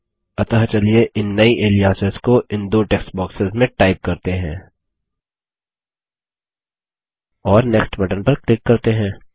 अतः चलिए इन नई एलियासेस को इन दो टेक्स्ट बॉक्सेस में टाइप करते हैं और नेक्स्ट बटन पर क्लिक करते हैं